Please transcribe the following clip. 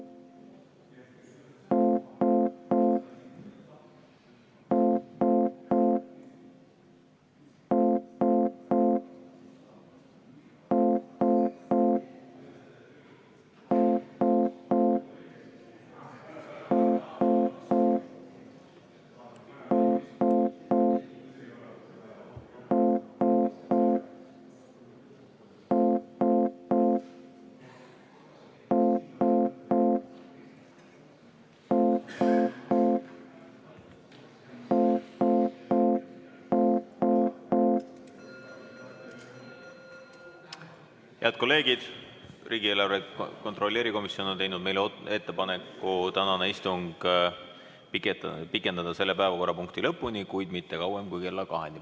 Head kolleegid, riigieelarve kontrolli erikomisjon on teinud meile ettepaneku pikendada tänast istungit selle päevakorrapunkti lõpuni, kuid mitte kauem kui kella kaheni.